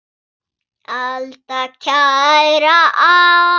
Alda, kæra alda!